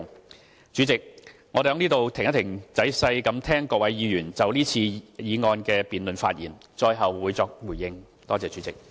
代理主席，我會在此稍停，待仔細聆聽各位議員就是次議案辯論發言後，最後再作回應。